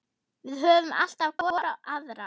Við höfum alltaf hvor aðra.